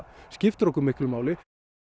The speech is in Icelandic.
skiptir okkur miklu máli